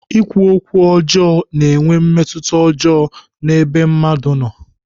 Ikwu okwu ọjọọ na-enwe mmetụta ọjọọ n'ebe mmadụ nọ.